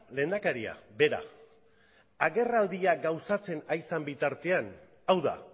lehendakaria bera agerraldia gauzatzen ari zen bitartean hau da